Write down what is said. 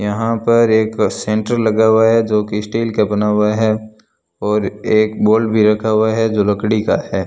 यहां पर एक सेंटर लगा हुआ है जो की स्टील का बना हुआ है और एक बॉल भी रखा हुआ है जो लकड़ी का है।